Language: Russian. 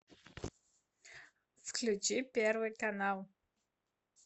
включи первый канал